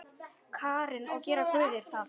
Karen: Og gera guðir það?